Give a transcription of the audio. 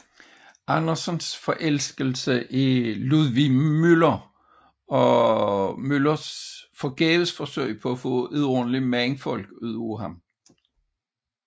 Andersens forelskelse i Ludvig Müller og dennes forgæves forsøg på at få et ordentligt mandfolk ud af ham